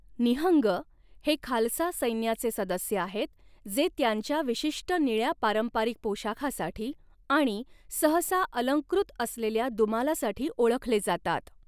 निहंग हे खालसा सैन्याचे सदस्य आहेत जे त्यांच्या विशिष्ट निळ्या पारंपारिक पोशाखासाठी आणि सहसा अलंकृत असलेल्या दुमालासाठी ओळखले जातात.